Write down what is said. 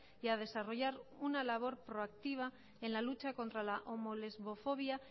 y a desarrollar una labor proactiva en la lucha contra la homo lesbofobia